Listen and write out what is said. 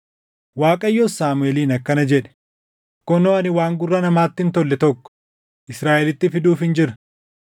Waaqayyos Saamuʼeeliin akkana jedhe: “Kunoo ani waan gurra namaatti hin tolle tokko Israaʼelitti fiduufin jira.